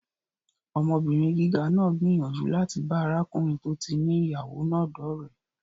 Ọmọbìnrin gíga náà gbìyànjú láti bá arákùnrin tó ti ní ìyàwó náà dọ́ọ̀rẹ́